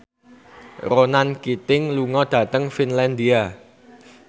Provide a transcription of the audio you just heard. Ronan Keating lunga dhateng Finlandia